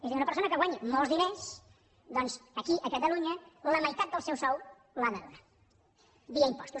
és a dir una persona que guanyi molts diners doncs aquí a catalunya la meitat del seu sou l’ha de donar via impostos